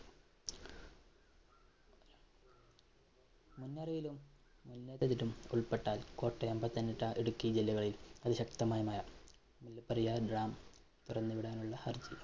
ഉള്‍പെട്ടാല്‍ കോട്ടയം, പത്തനംതിട്ട, ഇടുക്കി ജില്ലകളില്‍ അതിശക്തമായ മഴ. മുല്ലപ്പെരിയാര്‍ dam തുറന്നു വിടാനുള്ള ഹര്‍ജി